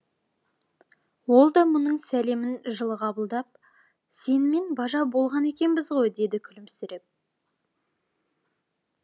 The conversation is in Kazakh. ол да мұның сәлемін жылы қабылдап сенімен бажа болған екенбіз ғой деді күлімсіреп